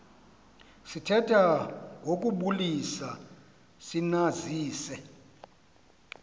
sithetha ngokubulisa sinazise